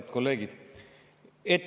Head kolleegid!